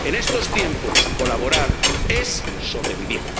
En estos tiempos, colaborar es sobrevivir.